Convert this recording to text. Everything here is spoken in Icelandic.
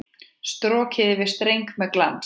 Strokið yfir streng með glans.